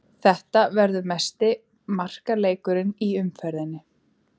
Þetta verður mesti markaleikurinn í umferðinni.